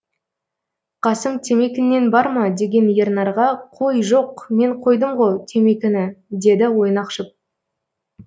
қасым темекіңнен бар ма деген ернарға қой жоқ мен қойдымғо темекіні деді ойнақшып